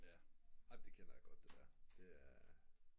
ja amen det kender jeg godt det der